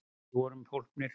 Við vorum hólpnir!